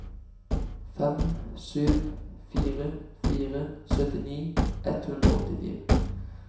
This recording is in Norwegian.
fem sju fire fire syttini ett hundre og åttifire